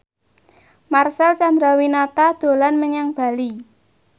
Marcel Chandrawinata dolan menyang Bali